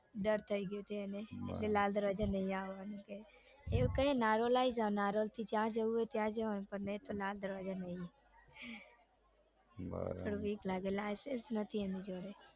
ડર થઇ ગયો છે એને કે લાલ દરવાજા નઈ આવાનું એને એવું કાઈએ કે નારોલ આવીજા નારોલથી જ્યાં જઉં હોય ત્યાં જવાનું પણ લાલ દરવાજા નઈ થોડું બીક લાગે એને લાઇસન્સ નઈ એની જોડે